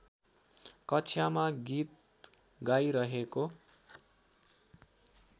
कक्षामा गीत गाइरहेको